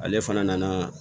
Ale fana nana